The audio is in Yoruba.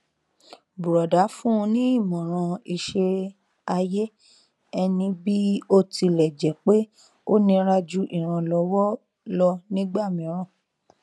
bùrọdá fún un ní ìmọràn iṣẹ ayé ẹni bí ó tilẹ jẹ pé ó nira ju ìrànlọwọ lọ nígbà mìíràn